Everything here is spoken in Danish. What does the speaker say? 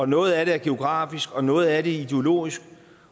noget af det er geografisk og noget af det være ideologisk